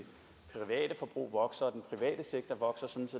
private forbrug vokser og